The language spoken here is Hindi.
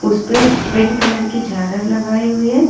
इस पे पिंक कलर की झालर लगाई हुई है।